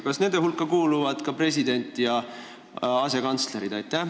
Kas nende inimeste hulka kuuluvad ka president ja asekantslerid?